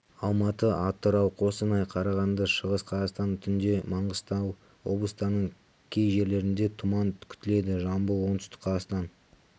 алматы атырау қостанай қарағанды шығыс қазақстан түнде маңғыстау облыстарының кей жерлерінде тұман күтіледі жамбыл оңтүстік қазақстан